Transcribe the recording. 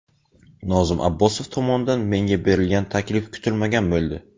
Nozim Abbosov tomonidan menga berilgan taklif kutilmagan bo‘ldi.